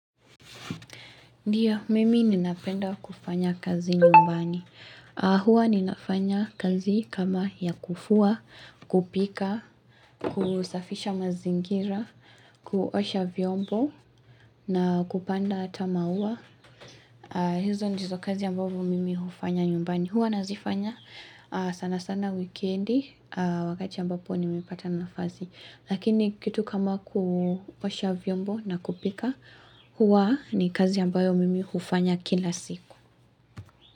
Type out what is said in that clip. Ndiyo, mimi ninapenda kufanya kazi nyumbani. Huwa ninafanya kazi kama ya kufua, kupika, kusafisha mazingira, kuosha vyombo na kupanda ama maua. Hizo ndizo kazi ambavu mimi hufanya nyumbani. Huwa nazifanya sanasana wikendi, wakati ambapo nimepata nafasi. Lakini kitu kama kuosha vyombo na kupika huwa ni kazi ambayo mimi hufanya kila siku.